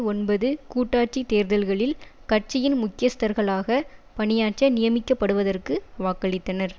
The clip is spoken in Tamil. ஒன்பது கூட்டாட்சி தேர்தல்களில் கட்சியின் முக்கியஸ்தர்களாக பணியாற்ற நியமிக்கப்படுவதற்கு வாக்களித்தனர்